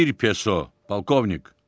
Bir peso, polkovnik!